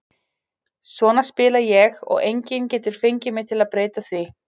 Svona spila ég og enginn getur fengið mig til að breyta því.